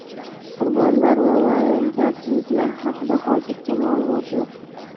Qurbonlar va vayronagarchiliklar haqida hozircha ma’lumot yo‘q.